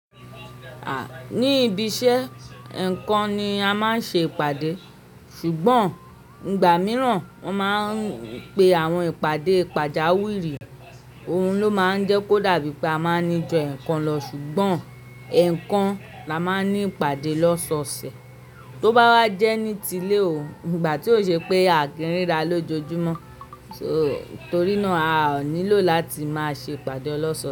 Ah! Ni ibi iṣẹ́, ẹ̀ẹ̀kan ni a máa ń ṣe ìpàdé. Ṣùgbọ́n ìgbà mìíràn wọ́n máa ń pe àwọn ìpàdé pàjáwìrì. Ohun ló máa ń jẹ́ kó dàbí pé a máa ń níju ẹ́ẹ̀kan lọ, ṣùgbọ́n ẹ̀ẹ̀kan la máa ń ní ìpàdé lọ́sọ̀ọ̀sẹ̀. To bá wá jẹ́ nítílé o, ìgbà tí ó ṣe pé àkíńrí ara lójoojúmọ́, torí náà a ò nílò láti máa ṣe ìpàdé ọlọ́sọọ̀sẹ̀